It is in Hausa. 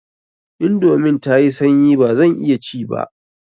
Indomin tayi sanyi bazan iya ci ba.